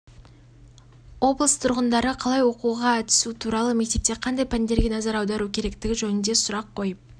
облыс тұрғындары оқуға қалай түсу туралы мектепте қандай пәндерге назар аудару керектігі жөнінде сұрақ қойып